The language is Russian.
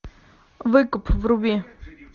выкуп вруби